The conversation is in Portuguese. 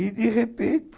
E de repente...